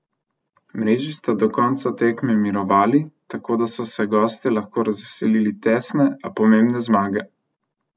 Mreži sta do konca tekme mirovali, tako da so se gostje lahko razveselili tesne, a pomembne zmage.